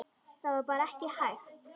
Það var bara ekki hægt.